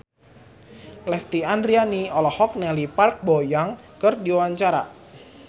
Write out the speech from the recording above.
Lesti Andryani olohok ningali Park Bo Yung keur diwawancara